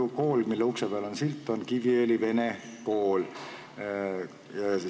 See kool, mille ukse peal see silt on, on Kiviõli Vene Kool.